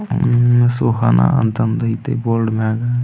ಎಲ್ಲ ತರದು Clinic Plus shampoo ಅಹ್ ಅಹ್ ಬೇರೆ ಬೇರೆ ಶಾಂಪೂ ಮತ್ ಸೋಪು .